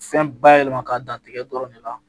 Fɛn bayɛlɛma ka dan tigɛ dɔrɔn ne la